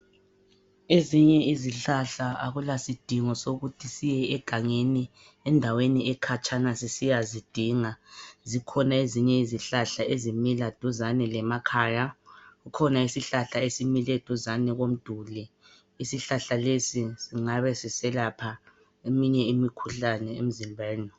Ezinye izihlahla akulasidingo sokuthi siye egangeni endaweni ekhatshana sisiya zidinga. Zikhona ezinye izihlahla ezimila duzane lemakhaya. Kukhona isihlahla esimile duzane komduli. Isihlahla lesi singabe siselapha eminye imikhuhlane emzimbeni.